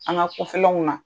An ka kɔfɛlaw na